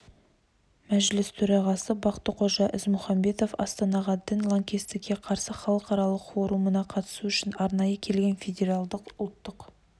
мәжіліс төрағасы бақтықожа ізмұхамбетов астанаға дін лаңкестікке қарсы халықаралық форумына қатысу үшін арнайы келген федералдық ұлттық